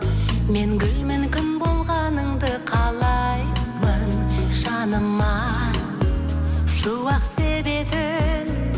мен гүлмін күн болғаныңды қалаймын жаныма шуақ себетін